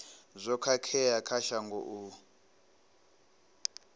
zwo khakhea kha shango u